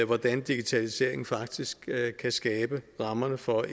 hvordan digitaliseringen faktisk kan skabe rammerne for